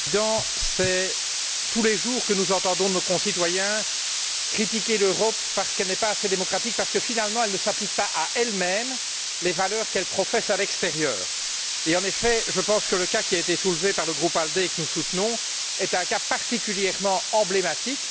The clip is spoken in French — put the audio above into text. Monsieur le Président, nous entendons tous les jours nos concitoyens critiquer l'Europe parce qu'elle n'est pas assez démocratique, parce que finalement elle ne s'applique pas à elle même les valeurs qu'elle professe à l'extérieur. En effet, je pense que le cas qui a été soulevé par le groupe ALDE, que nous soutenons, est particulièrement emblématique.